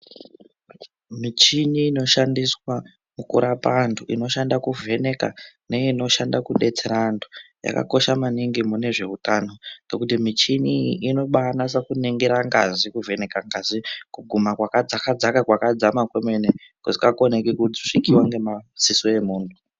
Michini inoshandiswa kurapa antu inoshanda kuvheneka neinoshanda kudetsera antu yakakosha maningi mune zveutano. Ngekuti michini iyi inobanasa kuningira ngazi kuvheneka ngazi kuguma kwakadzaka dzaka kwakadzama kwemene kusingakoneki kusvikiwa ngemadziso emuntu.